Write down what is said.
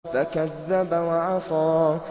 فَكَذَّبَ وَعَصَىٰ